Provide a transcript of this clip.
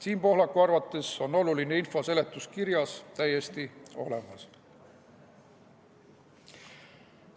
Siim Pohlaku arvates on oluline info seletuskirjas täiesti olemas.